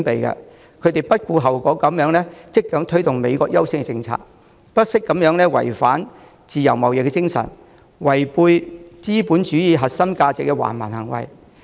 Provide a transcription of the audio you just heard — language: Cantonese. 他不顧後果地積極推動美國優先政策，做出違反自由貿易精神、違背資本主義核心價值的橫蠻行為。